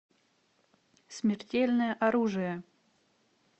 смертельное оружие